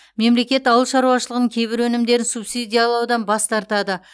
мемлекет ауыл шаруашылығының кейбір өнімдерін субсидиялаудан бас тартады